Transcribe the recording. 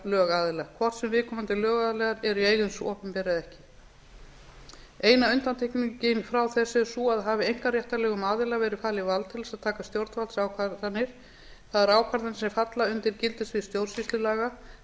lögaðila hvort sem viðkomandi lögaðilar eru í eigu hins opinbera eða ekki eina undantekningin frá þessu er sú að hafi einkaréttarlegu um aðila verið falið vald til að taka stjórnvaldsákvarðanir það er ákvarðanir sem falla undir gildissvið stjórnsýslulaga þá